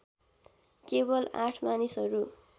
केवल ८ मानिसहरू